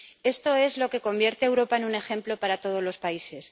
Esto es lo que convierte a Europa en un ejemplo para todos los países.